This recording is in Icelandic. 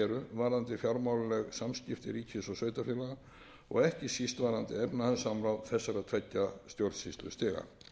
varðandi fjármálaleg samskipti ríkis og sveitarfélaga og ekki síst verðandi efnahagssamráð þessara tveggja stjórnsýslustiga